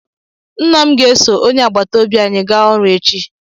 Nna m ga eso onye agbata obi anyị ga ọrụ echi